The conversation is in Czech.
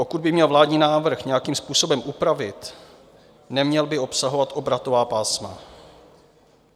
Pokud bych měl vládní návrh nějakým způsobem upravit, neměl by obsahovat obratová pásma.